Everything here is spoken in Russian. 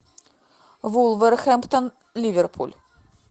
вулверхэмптон ливерпуль